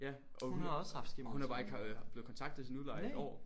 Ja og hun hun er bare ikke blevet kontaktet af sin udlejer i et år